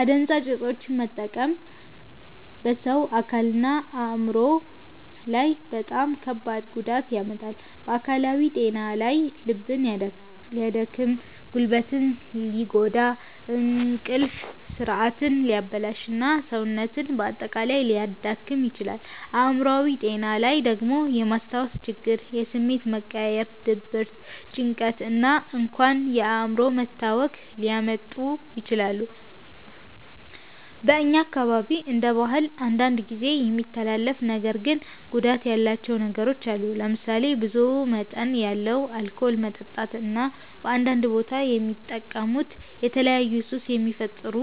አደንዛዥ እፆችን መጠቀም በሰው አካልና አእምሮ ላይ በጣም ከባድ ጉዳት ያመጣል። በአካላዊ ጤና ላይ ልብን ሊያደክም፣ ጉበትን ሊጎዳ፣ እንቅልፍ ስርዓትን ሊያበላሽ እና ሰውነትን በአጠቃላይ ሊያዳክም ይችላል። አእምሮአዊ ጤና ላይ ደግሞ የማስታወስ ችግር፣ የስሜት መቀያየር፣ ድብርት፣ ጭንቀት እና እንኳን የአእምሮ መታወክ ሊያመጡ ይችላሉ። በእኛ አካባቢ እንደ ባህል አንዳንድ ጊዜ የሚተላለፉ ነገር ግን ጉዳት ያላቸው ነገሮች አሉ። ለምሳሌ ብዙ መጠን ያለው አልኮል መጠጣት እና በአንዳንድ ቦታ የሚጠቀሙት የተለያዩ ሱስ የሚፈጥሩ